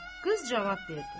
Qız cavab verdi.